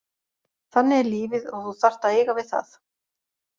Þannig er lífið og þú þarft að eiga við það,